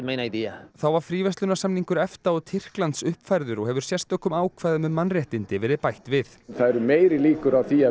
þá var fríverslunarsamningur EFTA og Tyrklands uppfærður og hefur sérstökum ákvæðum um mannréttindi verið bætt við það eru meiri líkur á því að